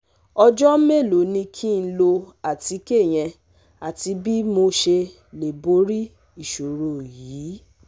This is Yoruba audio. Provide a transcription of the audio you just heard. Ọjọ́ mélòó ni kí n lo àtíkè yẹn àti bí mo ṣe lè borí ìṣòro yìí?